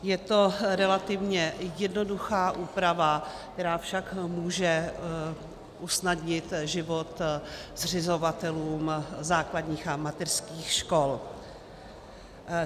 Je to relativně jednoduchá úprava, která však může usnadnit život zřizovatelům základních a mateřských škol.